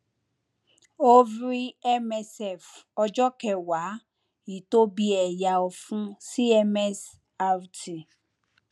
ovary msf ọjọ kẹwàá ìtóbi ẹyà ọfun cms rt